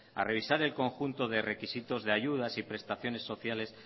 a revisar el conjunto de requisitos de ayudas y prestaciones sociales